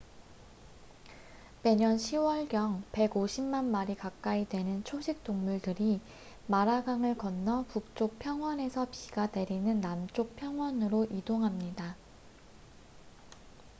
매년 10월경 150만 마리 가까이 되는 초식동물들이 마라강을 건너 북쪽 평원에서 비가 내리는 남쪽 평원으로 이동합니다